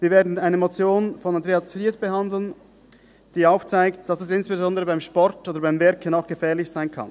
Wir werden eine Motion von Andrea Zryd behandeln, die aufzeigt, dass dies insbesondere beim Sport oder beim Werken auch gefährlich sein kann.